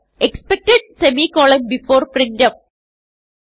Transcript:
expected semicolon before printf